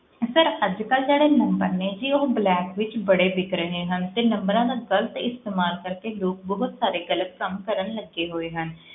Sir ਅੱਜ ਕੱਲ੍ਹ ਜਿਹੜੇ number ਨੇ ਜੀ ਉਹ black ਵਿੱਚ ਬੜੇ ਵਿੱਕ ਰਹੇ ਹਨ ਤੇ numbers ਦਾ ਗ਼ਲਤ ਇਸਤੇਮਾਲ ਕਰਕੇ ਲੋਕ ਬਹੁਤ ਸਾਰੇ ਗ਼ਲਤ ਕੰਮ ਕਰਨ ਲੱਗੇ ਹੋਏ ਹਨ,